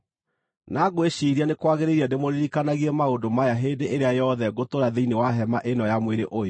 Na ngwĩciiria nĩ kwagĩrĩire ndĩmũririkanagie maũndũ maya hĩndĩ ĩrĩa yothe ngũtũũra thĩinĩ wa hema ĩno ya mwĩrĩ ũyũ,